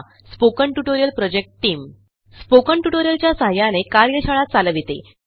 spoken tutorial project team spoken tutorial च्या सहाय्याने कार्यशाळा चालविते